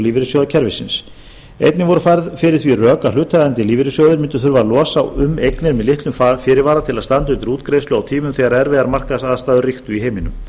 lífeyrissjóðakerfisins einnig voru færð fyrir því rök að hlutaðeigandi lífeyrissjóðir mundu þurfa að ára um eignir með litlum fyrirvara til að standa undir útgreiðslu á tímum þegar erfiðar markaðsaðstæður ríktu í heiminum